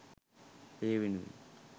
ඒ වෙනුවෙන්